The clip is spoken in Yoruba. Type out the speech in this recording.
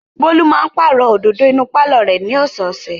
Bólú máa pàrọ̀ òdòdó inú pálọ̀ rẹ̀ ní ọ̀sẹ̀ẹ̀sẹ̀.